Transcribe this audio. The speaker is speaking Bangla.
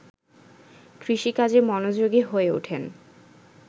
কৃষিকাজে মনোযোগী হয়ে ওঠেন